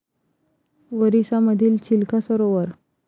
ओरिसा मधील चिल्का सरोवर